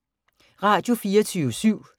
Radio24syv